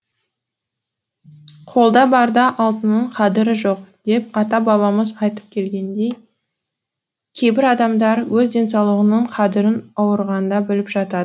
қолда барда алтынның қадірі жоқ деп ата бабамыз айтып келгендей кейбір адамдар өз денсаулығының қадірін ауырғанда біліп жатады